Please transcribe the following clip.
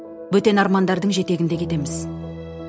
бөтен армандардың жетегінде кетеміз